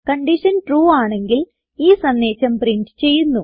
condition true ആണെങ്കിൽ ഈ സന്ദേശം പ്രിന്റ് ചെയ്യുന്നു